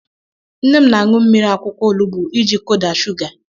Nne m na-aṅụ mmiri akwụkwọ olugbu iji kudaa shuga.